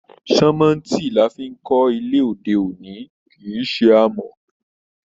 Sánmọ́ntì la fí n kọ ilé òde òní, kìí ṣe amọ̀.